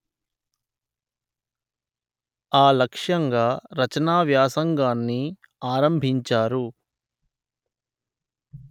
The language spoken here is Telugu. ఆ లక్ష్యంగా రచనా వ్యాసంగాన్ని ఆరంభించారు